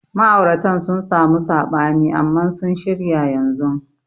Ma'auratan sun samu sabani amman sun shirya yanzun.